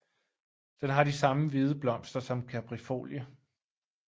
Den har de samme hvide blomster som Kaprifolie